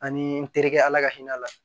Ani n terikɛ ala ka hinɛ a la